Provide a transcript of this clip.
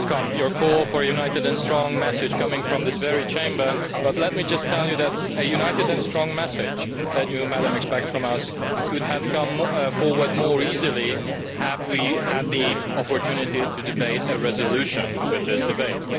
your call for a united and strong message coming from this very Chamber, but let me just tell you that the united and strong message that you, Madam, expect from us could have come forward more easily had we had the opportunity to debate a resolution with this debate.